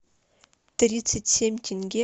тридцать семь тенге это сколько в рублевом эквиваленте